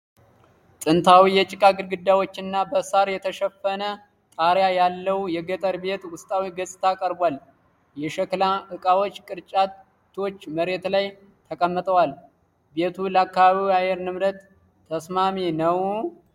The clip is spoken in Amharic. ጥንታዊ የጭቃ ግድግዳዎችና በሳር የተሸፈነ ጣሪያ ያለው ገጠር ቤት ውስጣዊ ገጽታ ቀርቧል። የሸክላ ዕቃዎችና ቅርጫቶች መሬት ላይ ተቀምጠዋል። ቤቱ ለአካባቢው የአየር ንብረት ተስማሚ ነው? (30 ቃላት)